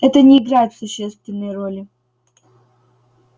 это не играет существенной роли